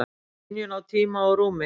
Skynjun á tíma og rúmi?